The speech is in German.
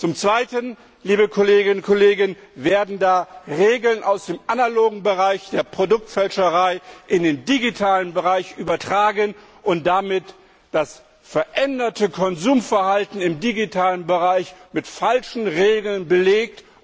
Zum Zweiten, liebe Kolleginnen und Kollegen, werden Regeln aus dem analogen Bereich der Produktfälscherei in den digitalen Bereich übertragen und damit wird das veränderte Konsumverhalten im digitalen Bereich mit falschen Regeln belegt.